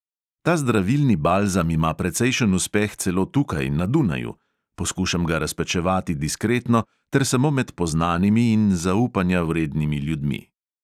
Ta zdravilni balzam ima precejšen uspeh celo tukaj, na dunaju; poskušam ga razpečevati diskretno ter samo med poznanimi in zaupanja vrednimi ljudmi.